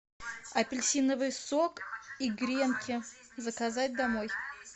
апельсиновый сок и гренки заказать домой